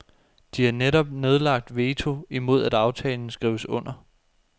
De har netop nedlagt veto imod at aftalen skrives under.